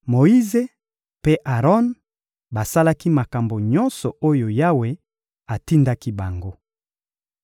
Moyize mpe Aron basalaki makambo nyonso oyo Yawe atindaki bango.